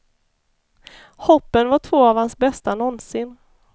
Hoppen var två av hans bästa någonsin.